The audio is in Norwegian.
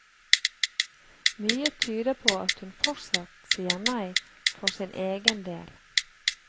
Mye tyder på at hun fortsatt sier nei for sin egen del.